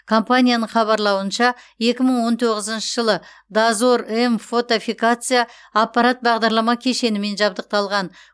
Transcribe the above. компанияның хабарлауынша екі мың он тоғызыншы жылы дозор м фотофиксация аппарат бағдарлама кешенімен жабдықталған